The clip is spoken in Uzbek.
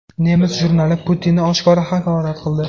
Nemis jurnali Putinni oshkora haqorat qildi.